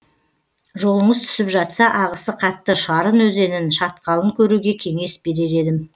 жолыңыз түсіп жатса ағысы қатты шарын өзенін шатқалын көруге кеңес берер едім